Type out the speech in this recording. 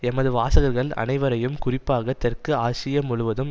எமது வாசகர்கள் அனைவரையும் குறிப்பாக தெற்கு ஆசியா முழுவதும்